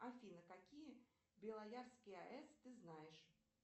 афина какие белоярские аэс ты знаешь